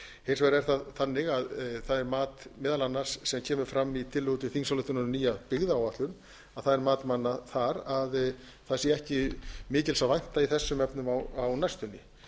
hins vegar er það þannig að það er mat meðal annars sem kemur fram í tillögu til þingsályktunar um nýja byggðaáætlun að það er mat manna þar að það sé ekki mikils að vænta í þessum efnum á næstunni